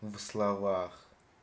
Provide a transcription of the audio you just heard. словах